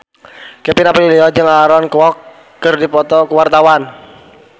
Kevin Aprilio jeung Aaron Kwok keur dipoto ku wartawan